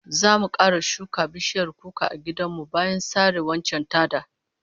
Zamu kara shuka bishiyar kuka a gidan mu bayan sare waccan ta da